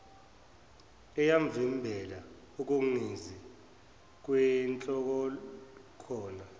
eyamvimbela ukungezi kwinhlolokhono